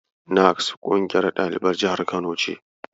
NAKSS ƙungiyar ɗaliban jihar Kano ce.